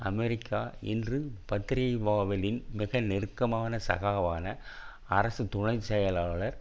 America இன்று பத்திரிகை பாவெலின் மிக நெருக்கமான சகாவான அரசு துணை செயலாளர்